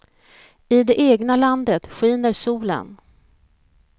I det egna landet skiner solen.